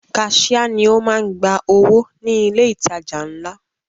Kaṣia ni o máa ń gba owó ní ilé ìtajà ńlá.